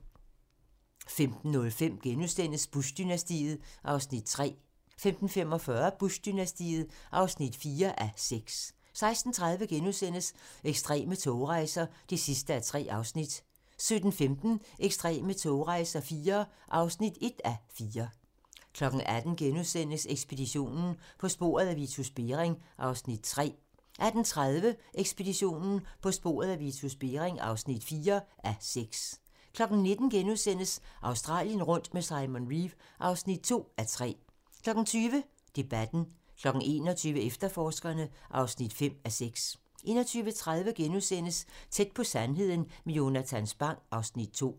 15:05: Bush-dynastiet (3:6)* 15:45: Bush-dynastiet (4:6) 16:30: Ekstreme togrejser (3:3)* 17:15: Ekstreme togrejser IV (1:4) 18:00: Ekspeditionen - På sporet af Vitus Bering (3:6)* 18:30: Ekspeditionen - På sporet af Vitus Bering (4:6) 19:00: Australien rundt med Simon Reeve (2:3)* 20:00: Debatten 21:00: Efterforskerne (5:6) 21:30: Tæt på sandheden med Jonatan Spang (Afs. 2)*